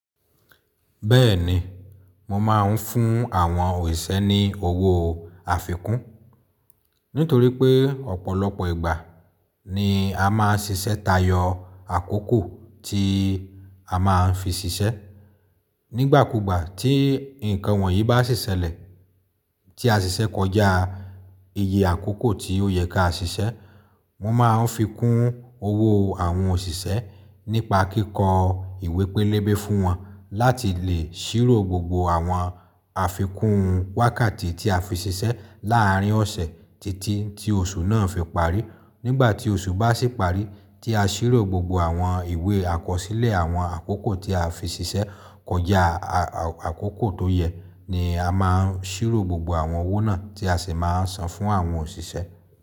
Bẹ́ẹ̀ni, mo máa ń fún àwọn òṣìṣẹ́ ní owó àfikún nítorí pé ọ̀pọ̀lọpọ̀ ìgbà ni a máa ń ṣiṣẹ́ tayọ àkókò tí a máa ń fi ṣiṣẹ́. Nígbàkúgbà tí nǹkan wọ̀nyí bá sì ṣẹlẹ̀, tí a ṣiṣẹ́ kọjá iye àkókò tí ó yẹ ká ṣiṣẹ́, mo máa ń fi kún owó àwọn òṣìṣẹ́ nípa kíkọ ìwé pélébé fún wọn láti lè ṣírò gbogbo àwọn àfikún wákàtí tí a fi ṣiṣẹ́ láàrín ọ̀sẹ̀ títí tí oṣù náà fi parí. Nígbà tí oṣù bá sì parí, tí a ṣírò gbogbo àwọn ìwé àkọsílẹ̀ àwọn àkókò tí a fi ṣiṣẹ́ kọjá àkókò tó yẹ ni a máa ń ṣírò gbogbo àwọn owó náà tí a sì máa ń san fún àwọn òṣìṣẹ́.